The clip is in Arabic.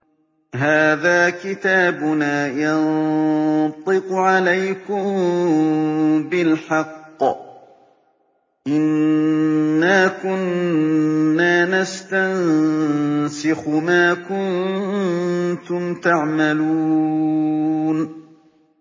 هَٰذَا كِتَابُنَا يَنطِقُ عَلَيْكُم بِالْحَقِّ ۚ إِنَّا كُنَّا نَسْتَنسِخُ مَا كُنتُمْ تَعْمَلُونَ